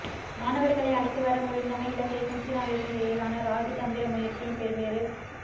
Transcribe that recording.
மாணவர்களை அழைத்துவர முடிந்தமை இலங்கைக்கும் சீனாவிற்கும் இடையிலான இராஜதந்திர முயற்சியின் பெறுபேறு